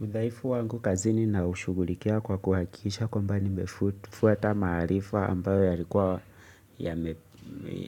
Udhaifu wangu kazini naushughulikia kwa kuhakikisha kwamba nimefuata maarifa ambayo yalikuwa